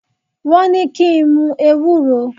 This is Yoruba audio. Wọ́n ní kí n mu ewúro.